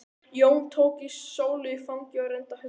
Jón tók Sólu í fangið og reyndi að hugga hana.